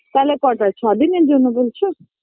তাহলে কটা ছদিনের জন্য বলছো